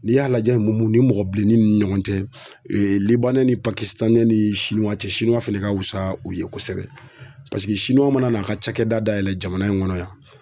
N'i y'a lajɛ mun mun nin mɔgɔ bilennin n ɲɔgɔn cɛ l ni ni cɛ fɛnɛ ka wusa u ye kosɛbɛ paseke mana n'a ka cakɛda dayɛlɛ jamana in ŋɔnɔ yan